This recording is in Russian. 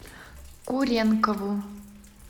куренкову